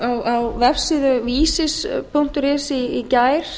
fréttum á vefsíðu visir punktur is í gær